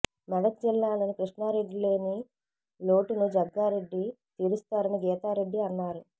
మెదక్ జిల్లాలో కిష్టారెడ్డి లేని లోటును జగ్గారెడ్డి తీరుస్తారని గీతా రెడ్డి అన్నారు